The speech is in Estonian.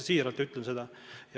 Ma ütlen seda täiesti siiralt.